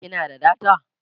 kina da data?